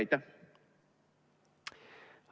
Aitäh!